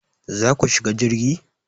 Za ku shiga jirgi?